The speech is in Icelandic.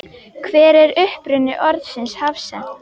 Hver er uppruni orðsins hafsent?